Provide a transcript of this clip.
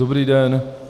Dobrý den.